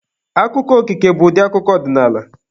Akụkọ okike bụkwa ụdị akụkọ ọdịnaala.